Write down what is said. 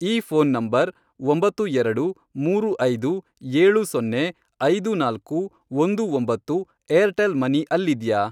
ಈ phone number, ಒಂಬತ್ತು ಎರಡು, ಮೂರು ಐದು, ಏಳು ಸೊನ್ನೆ, ಐದು ನಾಲ್ಕು, ಒಂದು ಒಂಬತ್ತು, ಏರ್ಟೆಲ್ ಮನಿ ಅಲ್ಲಿದ್ಯಾ?